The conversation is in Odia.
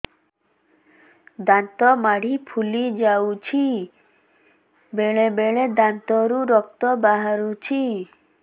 ଦାନ୍ତ ମାଢ଼ି ଫୁଲି ଯାଉଛି ବେଳେବେଳେ ଦାନ୍ତରୁ ରକ୍ତ ବାହାରୁଛି